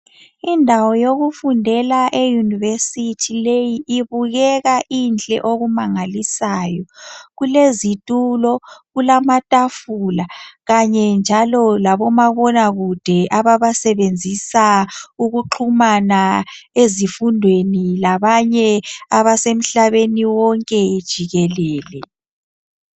Indawo yokufundela e university leyi ibukeka inhle okumangalisayo kulezitulo kulamatafula Kanye njalo labomabonakude ababasebenzisa ukuxhumana ezifundweni labanye abasemhlabeni wonke jikelele